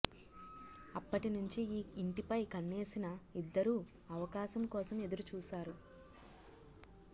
అప్పటినుంచి ఈ ఇంటిపై కన్నేసిన ఇద్దరూ అవకాశం కోసం ఎదురు చూశారు